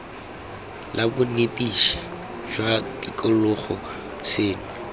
la bonetetshi jwa tikologo seno